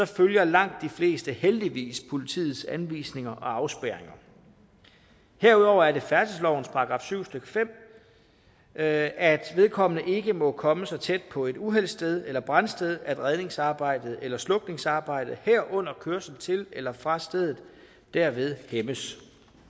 følger langt de fleste heldigvis politiets anvisninger og afspærringer herudover er det færdselslovens § syv stykke fem at at uvedkommende ikke må komme så tæt på et uheldssted eller brandsted at redningsarbejdet eller slukningsarbejdet herunder kørsel til eller fra stedet derved hæmmes